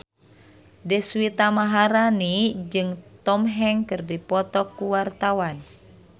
Deswita Maharani jeung Tom Hanks keur dipoto ku wartawan